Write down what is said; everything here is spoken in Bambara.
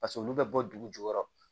Paseke olu bɛ bɔ dugu jukɔrɔ